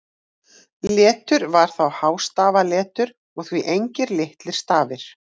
Letur var þá hástafaletur og því engir litlir stafir.